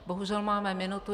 Bohužel máme minutu.